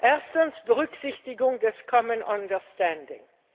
Erstens Berücksichtigung des common understanding.